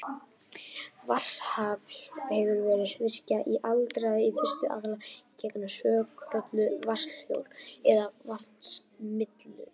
Vatnsafl hefur verið virkjað í aldaraðir, í fyrstu aðallega í gegnum svokölluð vatnshjól eða vatnsmyllur.